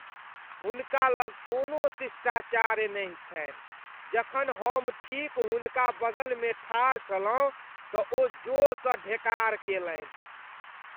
हुनका लग कोनो शिष्टाचार नहि छन्हि । जखन हम ठीक हुनका बगलमे ठाढ़ छलहुँ तऽ ओ जोरसँ ढेकार केलनि।